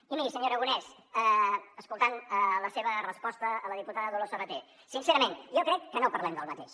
i miri senyor aragonès escoltant la seva resposta a la diputada dolors sabater sincerament jo crec que no parlem del mateix